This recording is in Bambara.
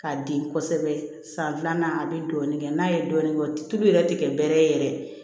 K'a den kosɛbɛ san filanan a bɛ dɔɔnin kɛ n'a ye dɔɔnin kɛ tulu yɛrɛ tɛ kɛ bɛrɛ ye yɛrɛ